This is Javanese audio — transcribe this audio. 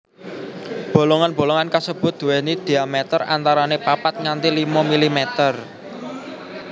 Bolongan bolongan kasebut duwéni diameter antarané papat nganti limo milimeter